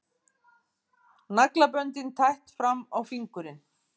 Naglaböndin tætt fram á fingurinn.